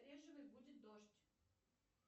будет дождь